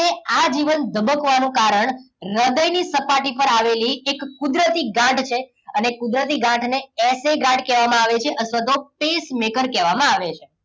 આજીવન ધબકવાનું કારણ હૃદયની સપાટી પર આવેલી એક કુદરતી ગાંઠ છે. અને એ કુદરતી ગાંઠને એસે ગાંઠ કહેવામાં આવે છે અથવા તો pacemaker કહેવામાં આવે છે.